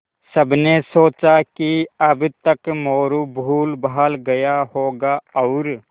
सबने सोचा कि अब तक मोरू भूलभाल गया होगा और